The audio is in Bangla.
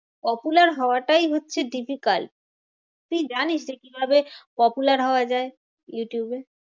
Popular হওয়াটাই হচ্ছে difficult. তুই জানিস যে কিভাবে popular হওয়া যায় ইউটিউবে?